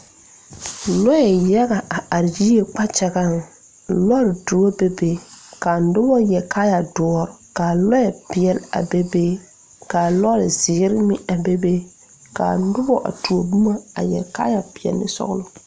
Lɔɛ yaga a are yie kpakyagaŋ lɔre doɔ bebe kaa nobɔ yɛre kaayɛ doɔre kaa lɔɛ peɛle a be be kaa lɔre zeere meŋ a bebe kaa nobɔ a tuo boma a yɛre kaayɛ peɛle ne sɔglɔ.